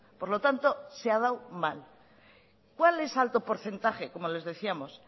por lo tanto se ha dado mal cuál es alto porcentaje como les decíamos